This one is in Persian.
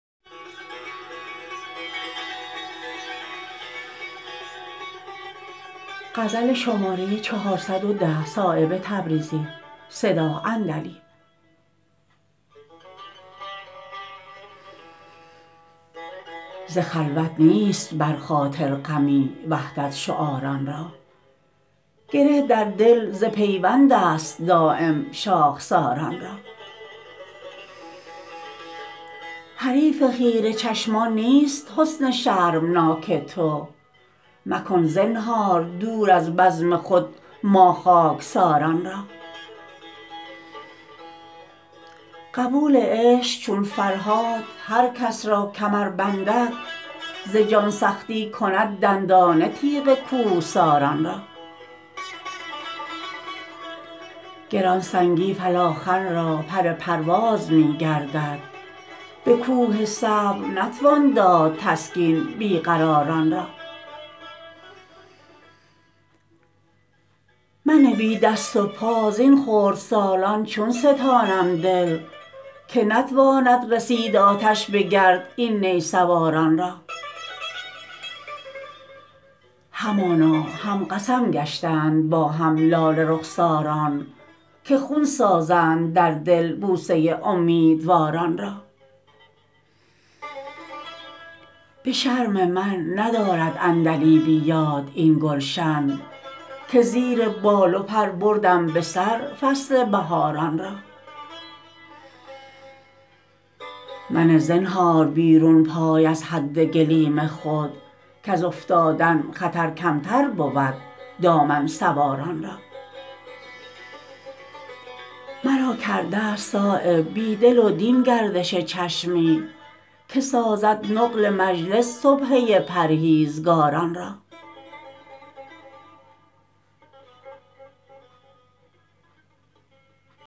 ز خلوت نیست بر خاطر غمی وحدت شعاران را گره در دل ز پیوندست دایم شاخساران را حریف خیره چشمان نیست حسن شرمناک تو مکن زنهار دور از بزم خود ما خاکساران را قبول عشق چون فرهاد هر کس را کمر بندد ز جان سختی کند دندانه تیغ کوهساران را گرانسنگی فلاخن را پر پرواز می گردد به کوه صبر نتوان داد تسکین بی قراران را من بی دست و پا زین خردسالان چون ستانم دل که نتواند رسید آتش به گرد این نی سواران را همانا هم قسم گشتند با هم لاله رخساران که خون سازند در دل بوسه امیدواران را به شرم من ندارد عندلیبی یاد این گلشن که زیر بال و پر بردم به سر فصل بهاران را منه زنهار بیرون پای از حد گلیم خود کز افتادن خطر کمتر بود دامن سواران را مرا کرده است صایب بی دل و دین گردش چشمی که سازد نقل مجلس سبحه پرهیزگاران را